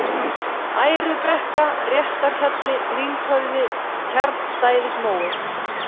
Ærubrekka, Réttarhjalli, Lynghöfði, Tjarnstæðismói